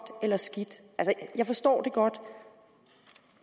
eller skidt jeg forstår det godt